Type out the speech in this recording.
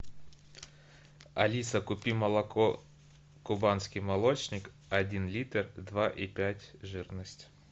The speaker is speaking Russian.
алиса купи молоко кубанский молочник один литр два и пять жирность